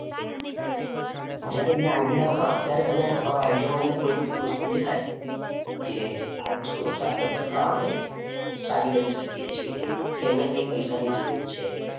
જ્યારે એમને idea હા ત્યારે તમે તમારો idea માં એમને એવી કોઈ બી એવી વસ્તુ દેખાય કે આ વસ્તુ હજી આગળ જતાં આપણે સારી કરી શકીએ છીએ કે અહિયા કઈ પૈસા ની જરૂર છે.